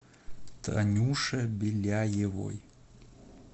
танюше беляевой